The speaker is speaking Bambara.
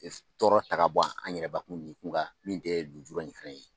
Tɔɔrɔ ta bɔ an yɛrɛbakun nikun kan min tɛ lujura in fana ye